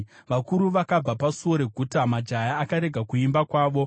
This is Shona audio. Vakuru vakabva pasuo reguta; majaya akarega kuimba kwavo.